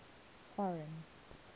foreign